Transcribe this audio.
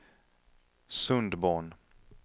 Sundborn